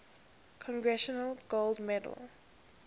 congressional gold medal